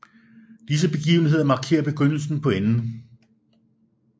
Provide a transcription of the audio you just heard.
Disse begivenheder markerer begyndelse på enden